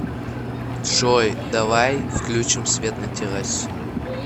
джой давай включим свет на террасе